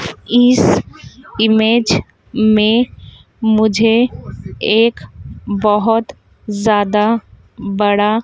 इस इमेज में मुझे एक बहोत ज्यादा बड़ा--